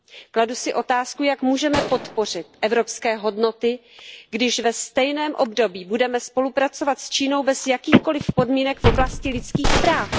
Kladu si otázku Jak můžeme podpořit evropské hodnoty, když ve stejném období budeme spolupracovat s Čínou bez jakýchkoli podmínek v oblasti lidských práv?